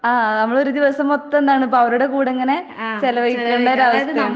ആഹ് നമ്മളൊരു ദിവസം മൊത്തം എന്താണ് ഇപ്പവരുടെ കൂടെ ഇങ്ങനെ ചെലവഴിക്കണ്ടൊരാവസ്ഥയാണ്.